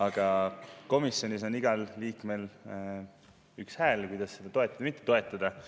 Aga komisjonis on igal liikmel üks hääl, millega seda toetada või mitte toetada.